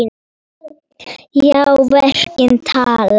Já, verkin tala.